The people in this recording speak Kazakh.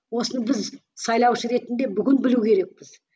осыны біз сайлаушы ретінде бүгін білу керекпіз